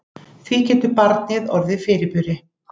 Því getur barnið orðið fyrirburi.